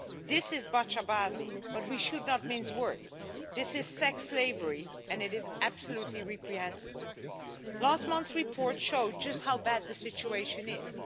This is but we should not mince words this is sex slavery and it is absolutely reprehensible. Last month's report showed just how bad the situation is.